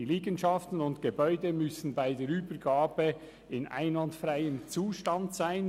Die Liegenschaften und Gebäude müssen bei der Übergabe in einwandfreiem Zustand sein.